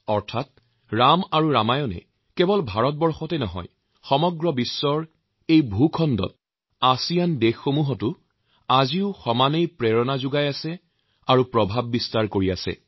অৰ্থাৎ কেৱল ভাৰতেই নহয় পৃথিৱীৰ এই ভূখণ্ডত আছিয়ানৰ সদস্যভূক্ত দেশসমূহতো ৰাম আৰু ৰামায়ণৰ প্ৰেৰণা আৰু প্ৰভাৱ সমানেই আছে